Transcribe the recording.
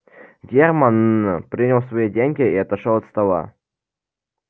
германн принял свои деньги и отошёл от стола